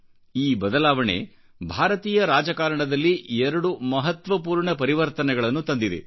ಈ ಬದಲಾವಣೆ ಭಾರತೀಯರಾಜಕಾರಣದಲ್ಲಿ 2 ಮಹತ್ವಪೂರ್ಣ ಪರಿವರ್ತನೆಗಳನ್ನು ತಂದಿದೆ